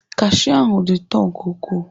Kashiu ahụ dị ụtọ nke ukwuu.